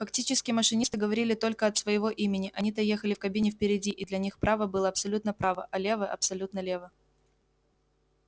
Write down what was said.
фактически машинисты говорили только от своего имени они-то ехали в кабине впереди и для них право было абсолютное право а лево абсолютное лево